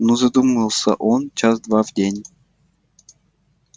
ну задумался он час-два в день